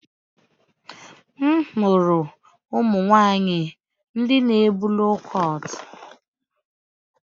M hụrụ ụmụ nwanyị ndị na ebu loo kọt